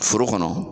Foro kɔnɔ